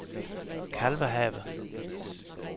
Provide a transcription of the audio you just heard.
Kalvehave